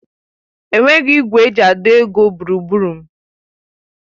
Enweghị igwe eji àdọ́ ego gburugburu m.